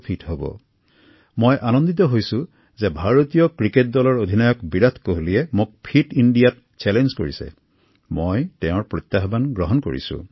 মোৰ বাবে এয়া অত্যন্ত আনন্দৰ কথা যে ভাৰতীয় ক্ৰিকেট দলৰ অধিনায়ক বিৰাট কোহলি মহোদয়ে মোক এই চেলেঞ্জত অন্তৰ্ভুক্ত কৰিছে আৰু মই তেওঁৰ প্ৰত্যাহ্বান গ্ৰহণ কৰিছো